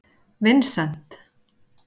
Vincent